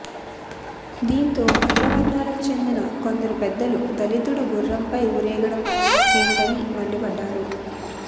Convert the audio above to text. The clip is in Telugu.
దీంతో అగ్రవర్ణాలకు చెందిన కొందరు పెద్దలు దళితుడు గుర్రంపై ఊరేగడం ఏంటని మండిపడ్డారు